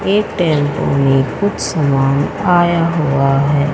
एक टेंपू में कुछ सामान आया हुआ है।